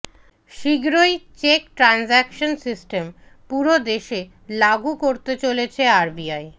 শীঘ্রই check transaction system পুরো দেশে লাগু করতে চলেছে আরবিআই